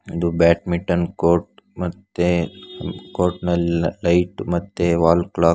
ಇದು badminton court ಮತ್ತೆ court ನಲ್ಲಿ ಲೈಟ್ ಮತ್ತೆ ವಾಲ್ ಕ್ಲಾಕ್ .